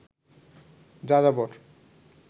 যাযাবর